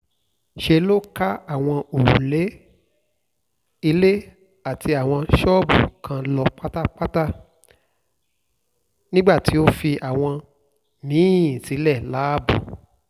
ṣe ló kan àwọn òrùlé ilé àtàwọn ṣọ́ọ̀bù kan lọ pátápátá nígbà tó fi àwọn mí-ín sílẹ̀ láàbò